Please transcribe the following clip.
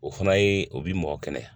O fana ye o bi mɔgɔ kɛnɛya